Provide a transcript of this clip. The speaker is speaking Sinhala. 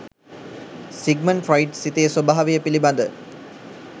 සිග්මන් ෆ්‍රොයිඞ් සිතේ ස්වභාවය පිළිබඳ